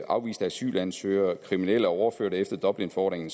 afviste asylansøgere og kriminelle overført efter dublinforordningen